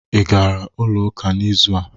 Ị gara ụlọ ụka n'izụ a?